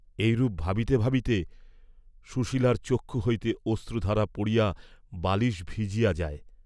এই রূপ ভাবিতে ভাবিতে সুশীলর চক্ষু হইতে অশ্রুধারা পড়িয়া বালিস ভিজিয়া যায়।